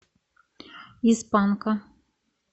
из панка